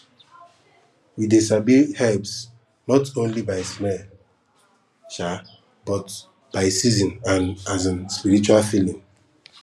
we dey sabi herbs not only by smell um but by season and um spiritual feeling